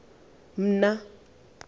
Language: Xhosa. mna